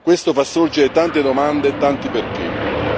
Nessuno può chiudere gli occhi, tanto meno l'Europa.